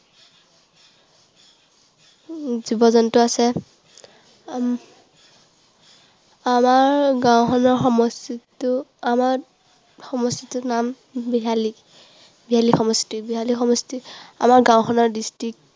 জীৱ জন্তু আছে। আমাৰ গাঁওখনৰ সমষ্টিটো যিটো আমাৰ সমষ্টিটোৰ নাম বিহালী। বিহালী সমষ্টি। বিহালী সমষ্টি, আমাৰ গাঁওখনৰ district